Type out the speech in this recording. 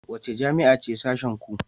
Wace jami'a ce sashenku?